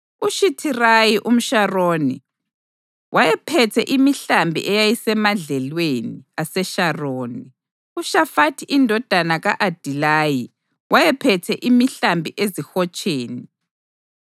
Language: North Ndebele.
UShithirayi umSharoni wayephethe imihlambi eyayisemadlelweni aseSharoni. UShafathi indodana ka-Adilayi, wayephethe imihlambi ezihotsheni.